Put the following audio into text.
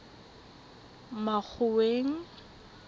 makgoweng